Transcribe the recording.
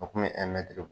O kun bɛ